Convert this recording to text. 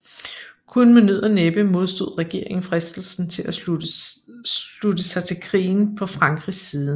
Kun med nød og næppe modstod regeringen fristelsen til at slutte sig til krigen på Frankrigs side